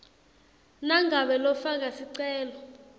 nangabe lofaka sicelo